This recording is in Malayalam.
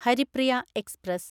ഹരിപ്രിയ എക്സ്പ്രസ്